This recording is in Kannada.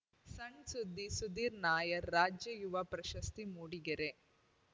ಸಣ್‌ ಸುದ್ದಿ ಸುಧೀರ್ ನಾಯರ್ ರಾಜ್ಯ ಯುವ ಪ್ರಶಸ್ತಿ ಮೂಡಿಗೆರೆ